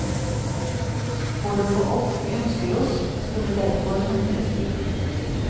For å få alt vi ønsker oss, skal det derfor handles billig.